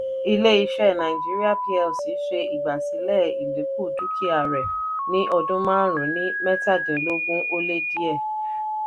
ilé iṣẹ́ nàìjíríà plc ṣe igbasilẹ ìdínkù dúkìá rè ní ọdún márùn-ún ní -mẹ́tàdínlógún ó lé díè